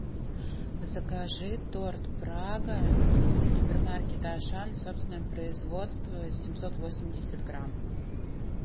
закажи торт прага из гипермаркета ашан собственного производства семьсот восемьдесят грамм